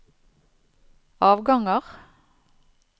avganger